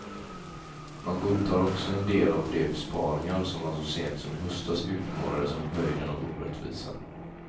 Man godtar också en del av de besparingar som man så sent som i höstas utmålade som höjden av orättvisa.